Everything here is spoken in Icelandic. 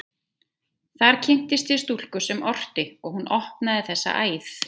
Þar kynntist ég stúlku sem orti, og hún opnaði þessa æð.